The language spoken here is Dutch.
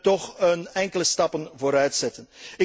Raad toch enkele stappen vooruitzetten.